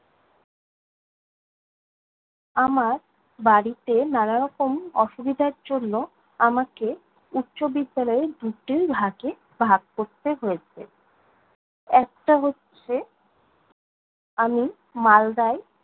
আমার বাড়িতে নানা রকম অসুবিধার জন্য আমাকে উচ্চবিদ্যালয়ে দুটি ভাগে ভাগ করতে হয়েছে। একটা হচ্ছে, আমি মালদায়